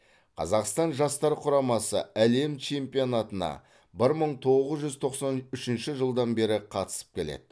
қазақстан жастар құрамасы әлем чемпионатына бір мың тоғыз жүз тоқсан үшінші жылдан бері қатысып келеді